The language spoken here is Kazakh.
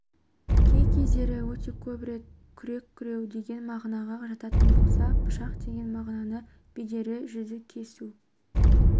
кей-кездері өте көп рет күрек күреу деген мағынаға жататын болса пышақ деген мағынаны береді жүзді кесу